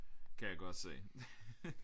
Kan jeg godt se